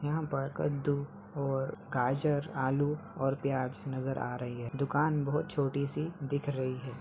यहाँ पर कद्दू और गाजर आलू और प्याज नजर आ रही है दुकान बहुत छोटी सी दिख रही है।